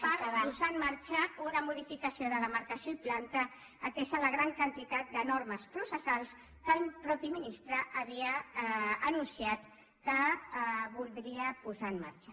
per posar en marxa una modificació de demarcació i planta atesa la gran quantitat de normes processals que el mateix ministre havia anunciat que voldria posar en marxa